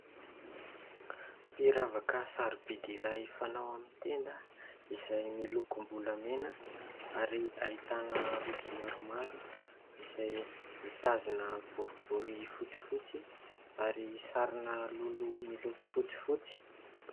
Firavaka sarobidy iray fanao amin'ny tenda ; izay milokom-bolamena ; ary ahitana rojo maromaro izay mitazona boribory fotsifotsy ary sarina lolo miloko fotsifotsy.